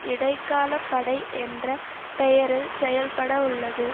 இடைக்கால படை என்ற பெயரில் செயல்பட உள்ளது